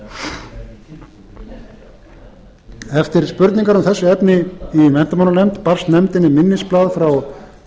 þennan útúrdúr eftir spurningar um þessi efni í menntamálanefnd barst nefndinni minnisblað frá